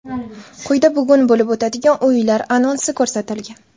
Quyida bugun bo‘lib o‘tadigan o‘yinlar anonsi ko‘rsatilgan.